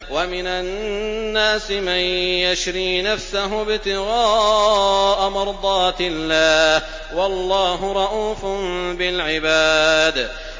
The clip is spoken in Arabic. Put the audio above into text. وَمِنَ النَّاسِ مَن يَشْرِي نَفْسَهُ ابْتِغَاءَ مَرْضَاتِ اللَّهِ ۗ وَاللَّهُ رَءُوفٌ بِالْعِبَادِ